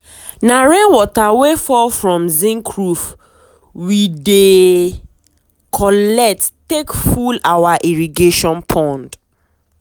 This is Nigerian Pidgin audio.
na rain water wey fall from zinc roof we dey collect take full our irrigation pond.